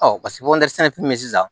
sɛnɛfɛn bɛ sisan